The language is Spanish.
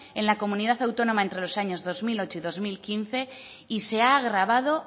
en la comunidad autónoma entre los años dos mil ocho y dos mil quince y se ha agravado